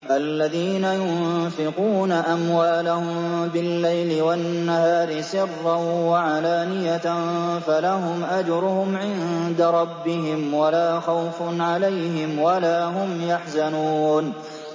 الَّذِينَ يُنفِقُونَ أَمْوَالَهُم بِاللَّيْلِ وَالنَّهَارِ سِرًّا وَعَلَانِيَةً فَلَهُمْ أَجْرُهُمْ عِندَ رَبِّهِمْ وَلَا خَوْفٌ عَلَيْهِمْ وَلَا هُمْ يَحْزَنُونَ